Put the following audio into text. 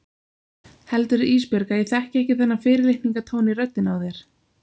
Heldurðu Ísbjörg að ég þekki ekki þennan fyrirlitningartón í röddinni á þér?